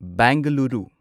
Bengaluru